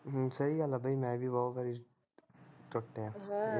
ਹਮ ਸਹੀ ਗੱਲ ਐ ਬਈ ਮੈਂ ਵੀ ਬਹੁਤ ਵਾਰੀ ਟੁੱਟਿਆ ਅਹ